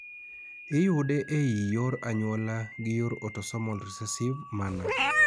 iyude ei yor anyuola gi yor autosomol recessive manner